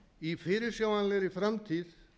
í fyrirsjáanlegri framtíð